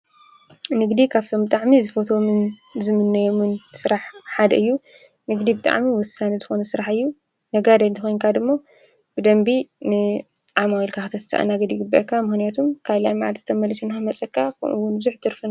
ንግዲ ኻብቶም ጣዕሚ ዝፈቶምን ዝምነዮሙን ሥራሕ ሓደ እዩ ንግዲ ብጥዕሚ ውሳን ዝኾነ ሥርሕ እዩ ነጋ ደይንተ ኾንካ ድሞ ብደንቢ ን ዓማዊ ልካኽተስተአናገዲጉበካ ምህንያቱም ካልያ መዓድ ተመልስ ኢንሆ መጸካ ኮኑውን ብዙኅ ትርፈን::